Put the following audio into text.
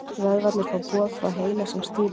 Vöðvarnir fá boð frá heila sem stýrir þeim.